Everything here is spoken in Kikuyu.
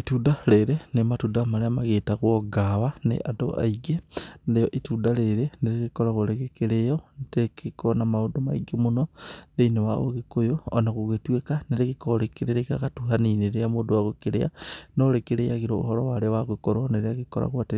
Itunda rĩrĩ nĩ matunda marĩa magĩtagwo ngawa nĩ andũ aingĩ narĩo itunda rĩrĩ nĩ rĩgĩkoragwo rĩgĩkĩrĩo rĩkoragwo na maũndũ maingĩ mũno thĩinĩ wa ũgĩkũyũ o na gũgĩtuĩka nĩ rĩkoragwo rĩkĩrĩ rĩgagatu hanini rĩrĩa mũndũ agũkĩrĩa no rĩkĩrĩagĩrwo ũhoro wa rĩo wa gũkorwo